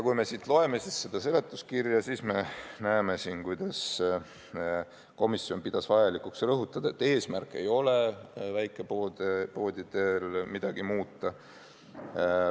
Kui me loeme seletuskirja, siis me näeme, kuidas komisjon pidas vajalikuks rõhutada, et eesmärk ei ole väikepoodide puhul midagi muuta.